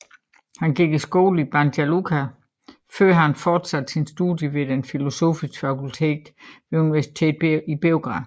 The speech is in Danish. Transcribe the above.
Han gik i skole i Banja Luka før han fortsatte sine studier ved det filosofiske fakultet ved universitetet i Beograd